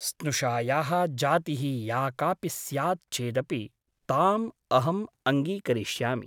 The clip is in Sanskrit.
स्नुषायाः जातिः या कापि स्यात् चेदपि ताम् अहम् अङ्गीकरिष्यामि ।